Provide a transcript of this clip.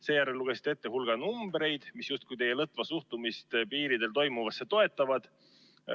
Seejärel lugesite ette hulga numbreid, mis teie lõtva suhtumist piiripunktides toimuvasse justkui toetavad.